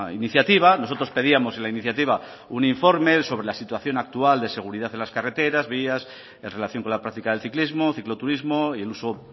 iniciativa nosotros pedíamos en la iniciativa un informe sobre la situación actual de seguridad en las carreteras vías en relación con la práctica del ciclismo cicloturismo y el uso